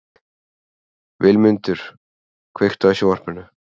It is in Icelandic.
Vilmundur, kveiktu á sjónvarpinu.